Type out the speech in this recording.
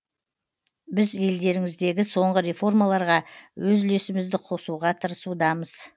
біз елдеріңіздегі соңғы реформаларға өз үлесімізді қосуға тырысудамыз